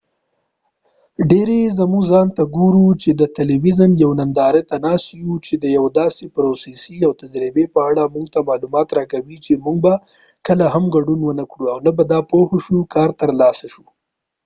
ډیری زموږه ځان ته ګورو چې د تلويزون یوې ننداری ته ناست یو چې د یوې داسې پروسی او تجربی په اړه موږ ته معلومات راکوي چې موږ به کله هم ګډون ونه کړو او نه به دا پوهه په کار راوستلای شو